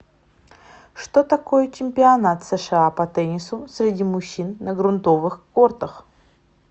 что такое чемпионат сша по теннису среди мужчин на грунтовых кортах